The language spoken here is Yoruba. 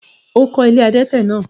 o kọ́ “ilé adẹ́tẹ̀” náà?